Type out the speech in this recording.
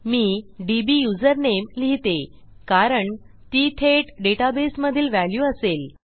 मी DB username लिहिते कारण ती थेट डेटाबेसमधील व्हॅल्यू असेल